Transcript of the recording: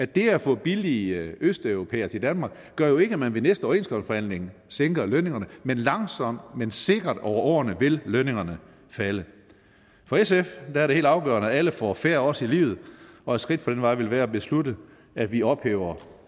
det at få billige østeuropæere til danmark gør jo ikke at man ved næste overenskomstforhandling sænker lønningerne men langsomt men sikkert over årene vil lønningerne falde for sf er det helt afgørende at alle får fair odds i livet og et skridt på den vej ville være at beslutte at vi ophæver